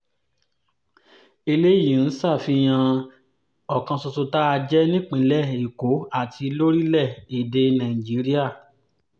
eléyìí ń ṣàfihàn ọ̀kan ṣoṣo tá a jẹ́ nípìnlẹ̀ èkó àti lórílẹ̀-èdè nàìjíríà